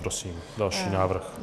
Prosím další návrh.